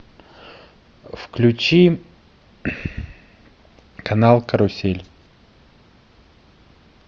включи канал карусель